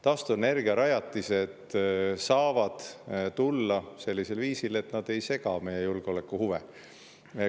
Taastuvenergiarajatised saavad tulla sellisel viisil, et nad ei sega meie julgeolekuhuve.